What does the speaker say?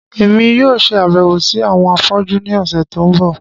Èmi yóò ṣe àbẹ̀wò si àwọn afọ́jú ni ọ̀sẹ̀ to n bọ.